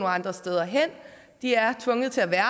andre steder hen de er tvunget til at være